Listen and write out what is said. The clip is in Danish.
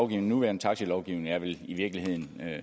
den nuværende taxilovgivning vel i virkeligheden